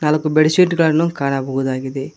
ನಾಲ್ಕು bed sheet ಗಳನ್ನು ಕಾಣಬಹುದಾಗಿದೆ.